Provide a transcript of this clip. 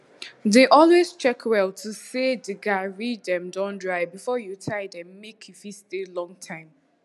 dey always check well to see say de garri dem don dry before you tie dem make e fit stay long time